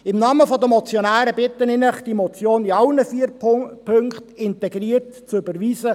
Im Namen der Motionäre bitte ich Sie, die Motion in allen vier Punkten integral zu überweisen.